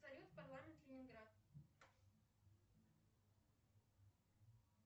салют парламент ленинград